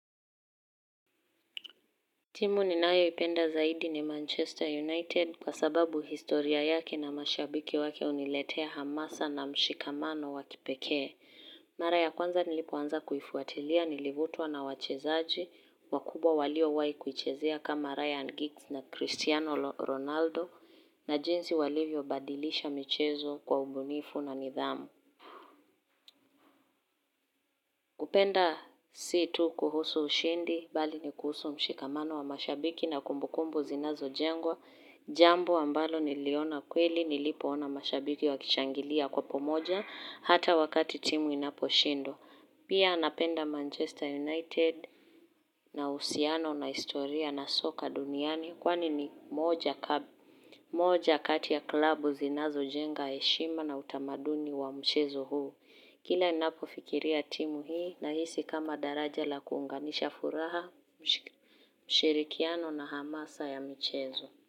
Timu ni nayo ipenda zaidi ni Manchester United kwa sababu historia yake na mashabiki wake uniletea hamasa na mshikamano wakipekee. Mara ya kwanza nilipoanza kuifuatilia, nilivutwa na wachezaji, wakubwa walio wai kuichezea kama Ryan Giggs na Cristiano Ronaldo na jinsi walivyo badilisha michezo kwa umbunifu na nidhamu. Kupenda si tu kuhusu ushindi, bali ni kuhusu mshikamano wa mashabiki na kumbukumbu zinazo jengwa, jambo ambalo niliona kweli, nilipo ona mashabiki wakishangilia kwa pamoja, hata wakati timu inapo shindwa. Pia napenda Manchester United na uhusiano na istoria na soka duniani kwani ni moja kati ya klabu zinazo jenga heshima na utamaduni wa mchezo huu. Kila ninapo fikiria timu hii na hisi kama daraja la kuunganisha furaha, mshirikiano na hamasa ya mchezo.